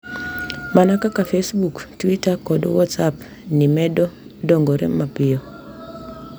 Mana kaka Facebook, twita, kod WhatsApp ni medo dongore mapiyo.